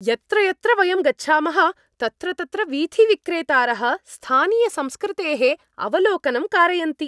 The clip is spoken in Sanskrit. यत्र यत्र वयं गच्छामः तत्र तत्र वीथिविक्रेतारः स्थानीयसंस्कृतेः अवलोकनं कारयन्ति।